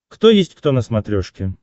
кто есть кто на смотрешке